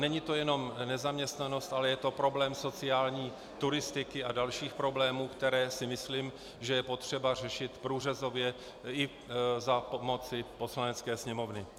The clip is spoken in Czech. Není to jenom nezaměstnanost, ale je to problém sociální turistiky a dalších problémů, které si myslím, že je potřeba řešit průřezově i za pomoci Poslanecké sněmovny.